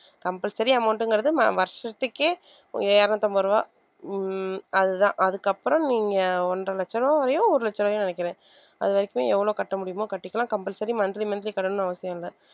compulsory amount ங்கிறது வ~ வருஷத்துக்கே இருநூத்தம்பது ரூபாய் உம் அதுதான் அதுக்கப்புறம் நீங்க ஒன்றரை லட்ச ரூபாய் வரையயோ ஒரு லட்ச ரூபாயோ நெனைக்கிறேன் அதுவரைக்குமே எவ்வளவு கட்ட முடியுமோ கட்டிக்கலாம் compulsory monthly monthly கட்டணும்னு அவசியம் இல்லை.